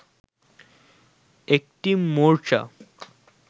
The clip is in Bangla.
একটি মোর্চা